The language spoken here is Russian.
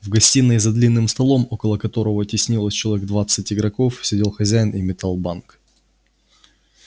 в гостиной за длинным столом около которого теснилось человек двадцать игроков сидел хозяин и метал банк